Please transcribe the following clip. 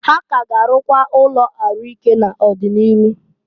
Ha k'a ga arụkwa ụnọ ahụ ike n'ọ dị n'iru.